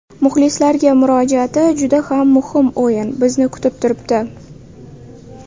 Muxlislarga murojaati Juda ham muhim o‘yin bizni kutib turibdi.